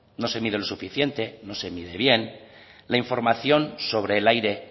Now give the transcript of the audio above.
no se mide lo suficiente no se mide bien la información sobre el aire